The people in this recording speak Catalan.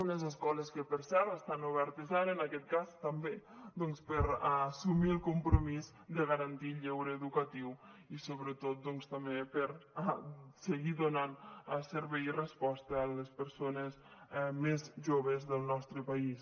unes escoles que per cert estan obertes ara en aquest cas també doncs per a assumir el compromís de garantir el lleure educatiu i sobretot també per a seguir donant servei i resposta a les persones més joves del nostre país